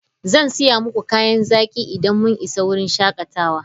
Zan saya muku kayan zaki idan mun isa wurin shakatawa.